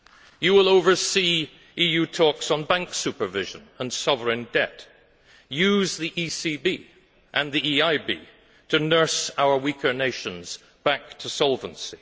You will oversee EU talks on bank supervision and sovereign debt use the ECB and the EIB to nurse our weaker nations back to solvency.